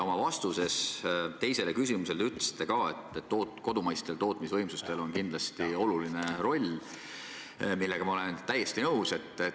Oma vastuses teisele küsimusele te ütlesite, et kodumaistel tootmisvõimsustel on kindlasti oluline roll, millega ma olen täiesti nõus.